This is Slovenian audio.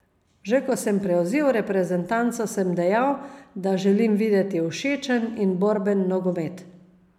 Že ko sem prevzel reprezentanco, sem dejal, da želim videti všečen in borben nogomet.